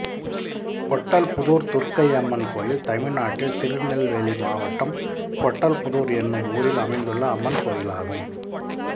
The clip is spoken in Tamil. பொட்டல்புதூர் துர்க்கையம்மன் கோயில் தமிழ்நாட்டில் திருநெல்வேலி மாவட்டம் பொட்டல்புதூர் என்னும் ஊரில் அமைந்துள்ள அம்மன் கோயிலாகும்